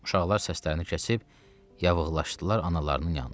Uşaqlar səslərini kəsib yavığlaşdılar analarının yanına.